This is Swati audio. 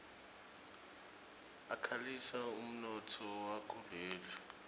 akhulisa umnotfo wakuleli